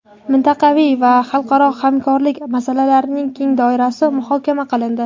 mintaqaviy va xalqaro hamkorlik masalalarining keng doirasi muhokama qilindi.